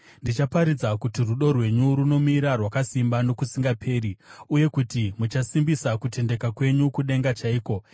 Ndichaparidza kuti rudo rwenyu runomira rwakasimba nokusingaperi, uye kuti muchasimbisa kutendeka kwenyu kudenga chaiko.